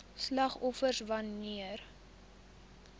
slagoffers wan neer